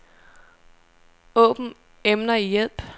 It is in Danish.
Åbn emner i hjælp.